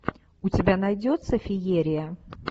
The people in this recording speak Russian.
у тебя найдется феерия